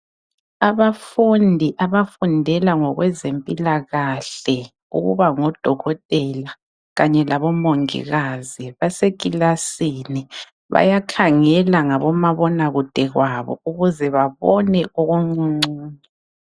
Abafundi abafundela ngekwezempilakahle ukuba ngodokotela kanye labomongikazi basekilasini bayakhangela ngabomabonakude babo ukuze babone okuncuncu.